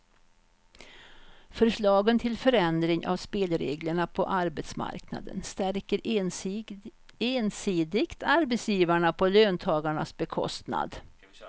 Förslagen till förändring av spelreglerna på arbetsmarknaden stärker ensidigt arbetsgivarna på löntagarnas bekostnad.